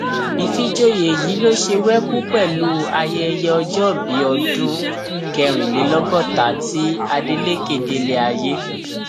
ìfìjòyè yìí ló ṣe wẹkú pẹlú ayẹyẹ ọjọbí ọdún kẹrìnlélọgọta tí adeleke délé ayé